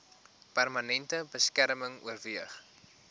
permanente beskerming oorweeg